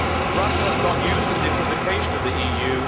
Russia has got used to the equivocation of the EU.